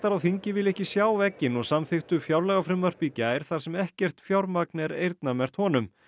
á þingi vilja ekki sjá vegginn og samþykktu fjárlagafrumvarp í gær þar sem ekkert fjármagn er eyrnamerkt honum